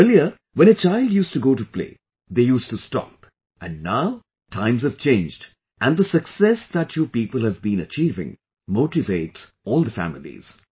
Earlier, when a child used to go to play, they used to stop, and now, times have changed and the success that you people have been achieving, motivates all the families